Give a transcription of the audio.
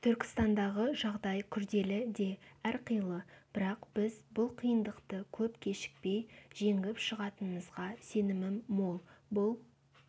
түркістандағы жағдай күрделі де әрқилы бірақ біз бұл қиындықты көп кешікпей жеңіп шығатынымызға сенімім мол бұл